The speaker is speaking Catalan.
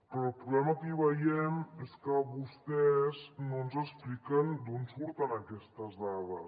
però el problema que hi veiem és que vostès no ens expliquen d’on surten aquestes dades